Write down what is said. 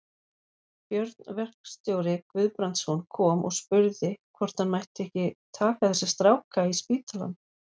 Björn verkstjóri Guðbrandsson kom og spurði hvort hann mætti ekki taka þessa stráka í spítalann.